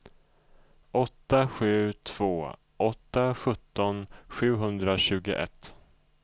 åtta sju två åtta sjutton sjuhundratjugoett